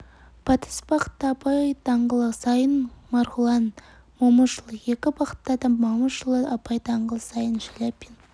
батыс бағытта абай даңғылы сайын маргулана момышулы екі бағытта да момышұлы абай даңғылы сайын шаляпин